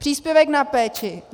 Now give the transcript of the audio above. Příspěvek na péči.